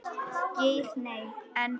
Geir Nei, en.